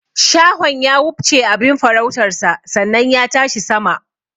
Shahon ya wufce abin farautarsa sannan ya tashi sama.